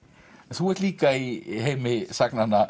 þú ert líka í heimi sagnanna